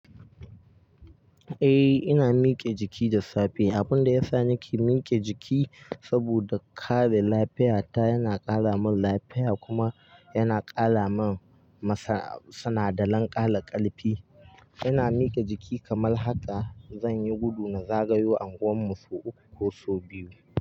Eh, ina mike jiki da safiya. Abun da ya sa nake mike jiki saboda kare lafiyata, yana ƙara min lafiya kuma yana ƙara min sanaɗalan ƙala ƙarfi. Ina mike jiki kamar haka, zan yi gudu na zagaya unguwan mu sau uku ko sau biyu.